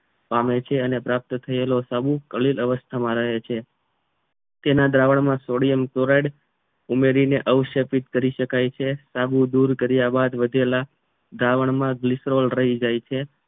પામે છે અને પ્રાપ્ત થયેલો સાબુ અલીન અવસ્થામાં રહે છે તેના દ્રાવણ સોડિયમ ક્લોરાઇડ ઉમેરીને આવશો કરી શકાય છે સાબુ દૂર કર્યા બાદ વધેલા દ્રાવણમાં ગીરક્ષરોલ રહી જાય છે